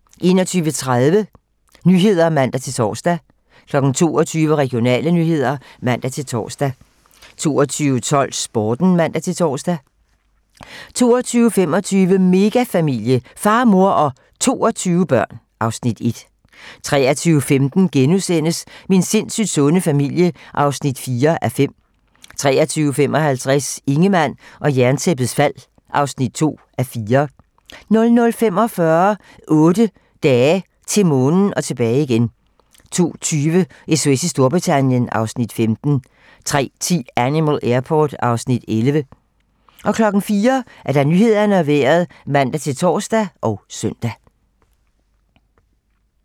21:30: 21:30 Nyhederne (man-tor) 22:00: Regionale nyheder (man-tor) 22:12: Sporten (man-tor) 22:25: Megafamilie - far, mor og 22 børn (Afs. 1) 23:15: Min sindssygt sunde familie (4:5)* 23:55: Ingemann og Jerntæppets fald (2:4) 00:45: 8 dage - til Månen og tilbage igen 02:20: SOS i Storbritannien (Afs. 15) 03:10: Animal Airport (Afs. 11) 04:00: Nyhederne og Vejret (man-tor og søn)